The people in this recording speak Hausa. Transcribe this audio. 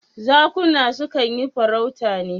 Zakuna su kan yi farauta ne.